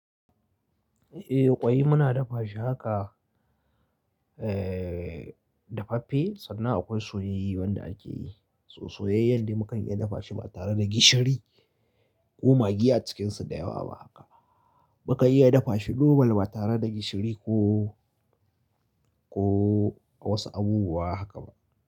Eh ƙwai muna dafa shi haka, eh dafaffe sannan akwai soyayye wanda ake yi. Soyayyen da mukan iya dafa shi ba tare da gishiri ko magi a cikinsu da yawa ba haka. Mukan iya dafa shi normal ba tare da gishiri ko, ko wasu abubuwa haka ba.